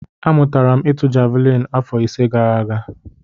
Amụtara m ịtụ javelin afọ ise gara aga.